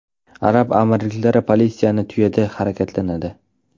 Arab amirliklari politsiyasi tuyada harakatlanadi .